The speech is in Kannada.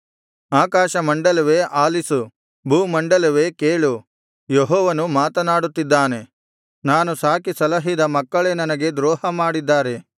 ಆಕಾಶಮಂಡಲವೇ ಆಲಿಸು ಭೂಮಂಡಲವೇ ಕೇಳು ಯೆಹೋವನು ಮಾತನಾಡುತ್ತಿದ್ದಾನೆ ನಾನು ಸಾಕಿ ಸಲಹಿದ ಮಕ್ಕಳೇ ನನಗೆ ದ್ರೋಹ ಮಾಡಿದ್ದಾರೆ